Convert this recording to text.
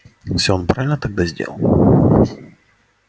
всё он правильно тогда сделал